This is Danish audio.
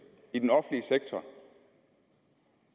i den offentlige sektor